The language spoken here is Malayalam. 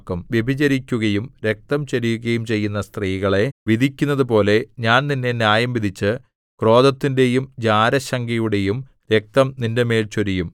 വ്യഭിചരിക്കുകയും രക്തം ചൊരിയുകയും ചെയ്യുന്ന സ്ത്രീകളെ വിധിക്കുന്നതുപോലെ ഞാൻ നിന്നെ ന്യായംവിധിച്ച് ക്രോധത്തിന്റെയും ജാരശങ്കയുടെയും രക്തം നിന്റെമേൽ ചൊരിയും